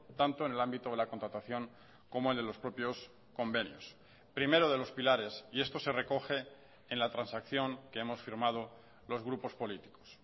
tanto en el ámbito de la contratación como el de los propios convenios primero de los pilares y esto se recoge en la transacción que hemos firmado los grupos políticos